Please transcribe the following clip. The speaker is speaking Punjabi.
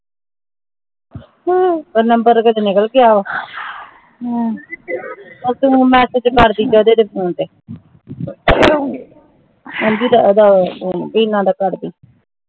ਉਹ ਨੰਬਰ ਏਦੇ ਚੋ ਨਿਕਲ ਗਿਆ ਉਹ ਤੇ ਹੁਣ ਤੂੰ message ਕਰਦੀ ਓਹਦੇ PHONE ਤੇ ਹਾਂ ਜੀ ਵੀਨਾ ਦਾ ਕਰਦੀ